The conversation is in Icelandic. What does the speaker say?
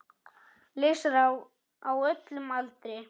Lesarar á öllum aldri.